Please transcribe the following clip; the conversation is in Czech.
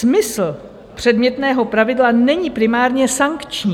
Smysl předmětného pravidla není primárně sankční.